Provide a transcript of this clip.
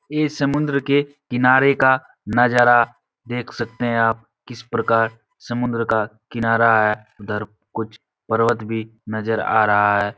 इस समुंद्र के किनारे का नज़ारा देख सकते हैं आप। किस प्रकार समुंद्र का किनारा है उधर कुछ पर्वत भी नजर आ रहा है।